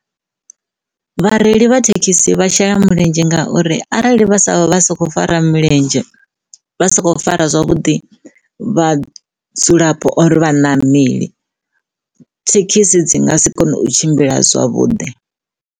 Vhareili vha thekhisi vha shela mulenzhe ngauri arali vha sa vha soko fara milenzhe vha sa khou fara zwavhuḓi vha vhudzulapo or vhaṋameli thekhisi dzi nga si kone u tshimbila zwavhuḓi.